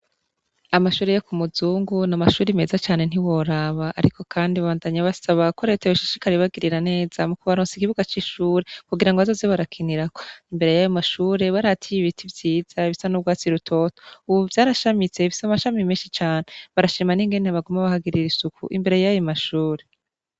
Amashure yo ku muzungu ni amashure meza cane ntiworaba. Ariko kandi babandanya basaba ko Leta yoshishikara ibagirira neza mu kubaronsa ikibuga c'ishure kugira ngo bazoze barakinirako. Imbere yayo mashure barahateye ibiti vyiza bisa n'urwatsi rutoto. Ubu vyarashamitse' bifise amashami menshi cane. Barashima n'ingene baguma bahagirira isuku imbere yayo mashure.